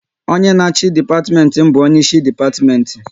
Onye na achị dipatimenti bụ onye isi depatimenti